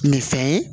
Nin fɛn ye